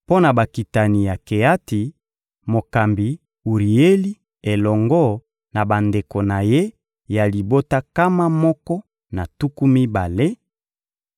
Mpo na bakitani ya Keati: mokambi Urieli elongo na bandeko na ye ya libota nkama moko na tuku mibale;